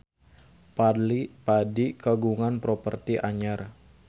Fadly Padi kagungan properti anyar